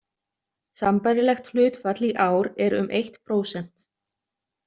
Sambærilegt hlutfall í ár er um eitt prósent.